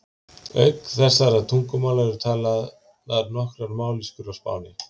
Auk þessara tungumála eru talaðar nokkrar mállýskur á Spáni.